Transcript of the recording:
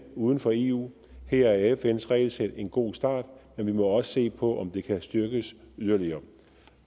uden for eu her er fns regelsæt en god start men vi må også se på om det kan styrkes yderligere